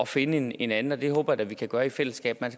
finde en en anden og det håber jeg da vi kan gøre i fællesskab man